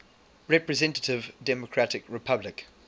representative democratic republic